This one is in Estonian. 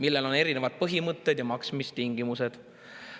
Neil on erinevad põhimõtted ja maksmistingimused.